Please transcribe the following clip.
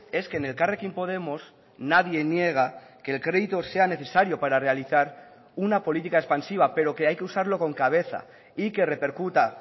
es que en elkarrekin podemos nadie niega que el crédito sea necesario para realizar una política expansiva pero que hay que usarlo con cabeza y que repercuta